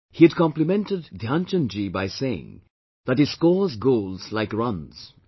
He had complimented Dhyan Chand ji by saying that 'he scores goals like runs'